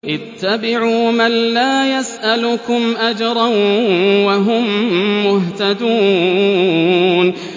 اتَّبِعُوا مَن لَّا يَسْأَلُكُمْ أَجْرًا وَهُم مُّهْتَدُونَ